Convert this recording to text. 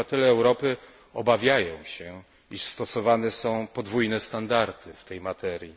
Obywatele Europy obawiają się, iż stosowane są podwójne standardy w tej materii.